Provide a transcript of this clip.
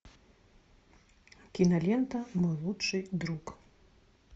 кинолента мой лучший друг